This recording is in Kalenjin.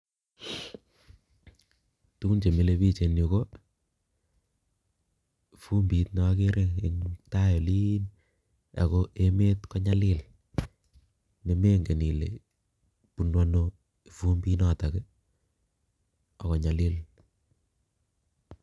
Tugun chemile biik eng' yu ko fumbit ne agere en tai oliin ago emet konyalil ne mengen ile bunu ano fumbit notok ii ago nyalil.